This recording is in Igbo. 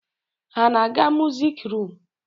Ha na-aga musik rum?